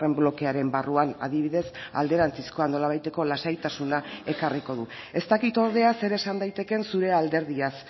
blokearen barruan adibidez alderantzizkoa nolabaiteko lasaitasuna ekarriko du ez dakit ordea zer esan daitekeen zure alderdiaz